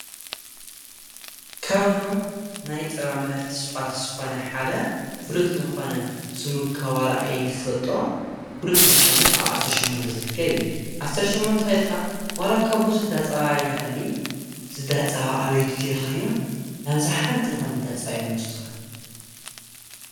ካውዞም ናይ ጸባ ምህርቲ ስዓት ዝኾነ ሓደ ፍሉጥ ለኾነ ስሙካ ዋልይፈጦ ፍሉጥ ለኾነ ኣብ ዓሠርሸምሞንተ ዘድቀብ ዓሠርሸሞንታ ኸይድካ ዋላካ ብዙሕ ዳጸባ የሃሊ ዝዳጸባ ኣበይ ድዩ ቲ ይልኸዮም ናብ ዛሓንቲ ልኾነ ዳጸባ እዮም ልወስዱኻ።